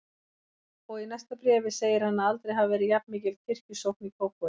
Og í næsta bréfi segir hann að aldrei hafi verið jafnmikil kirkjusókn í Kópavogi.